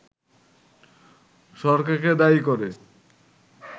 সরকারকে দায়ী করে